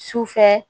Sufɛ